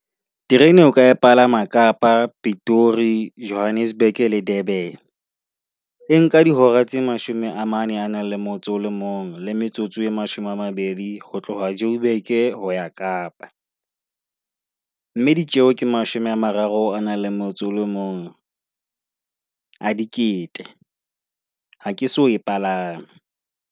Terene o ka palama Kapa, Pitori, Johannesburg le Durban. E nka dihora tse mashome a mane a nang le motso o le mong le metsotso e mashome a mabedi ho tloha Joburg ho ya Kapa. Mme ditjeo ke mashome a mararo a nang le motso o mong a dikete. Ha ke so e palame.